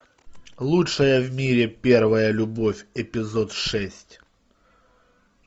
лучшая в мире первая любовь эпизод шесть